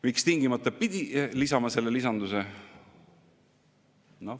Miks tingimata pidi lisama selle lisanduse?